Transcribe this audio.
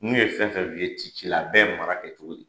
N'u ye fɛn fɛn f'i ye t'i ci la a bɛɛ ye mara kɛcogo ye.